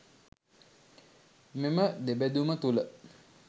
මෙම දෙබෙදුම තුළ